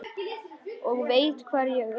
Og veit hvar ég er.